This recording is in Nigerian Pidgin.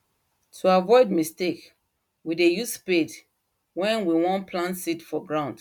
to avoid mistake we dey use spade wen we won plant seed for ground